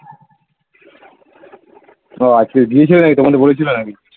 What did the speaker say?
ও আজকে গিয়েছিলো নাকি তোমাদের বলেছিলো নাকি